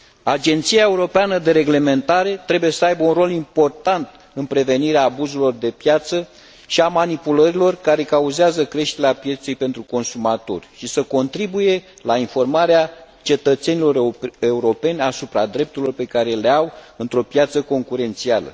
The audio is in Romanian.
Agenția europeană de reglementare trebuie să aibă un rol important în prevenirea abuzurilor de piață și a manipulărilor care cauzează creșterea pieței pentru consumatori și să contribuie la informarea cetățenilor europeni asupra drepturilor pe care le au într o piață concurențială.